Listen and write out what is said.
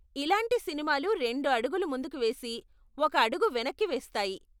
ఇలాంటి సినిమాలు రెండు అడుగులు ముందుకు వేసి, ఒక అడుగు వెనక్కి వేస్తాయి.